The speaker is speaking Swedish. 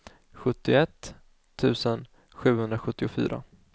sjuttioett tusen sjuhundrasjuttiofyra